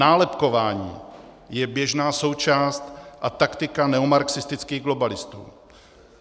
Nálepkování je běžná součást a taktika neomarxistických globalistů.